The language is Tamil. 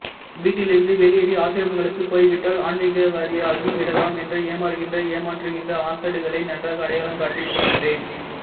வீட்டில் இருந்து வெளியேறி ஆசிரமங்களுக்குப் போய்விட்டால் ஆன்மிகவாதியாகி விடலாம் என்று ஏமாறுகிற ஏமாற்றுகிற அசடுகளை நன்றாக அடையாளம் காட்டி இருக்கிறேன்